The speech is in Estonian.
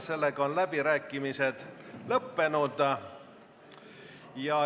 Seega on läbirääkimised lõppenud.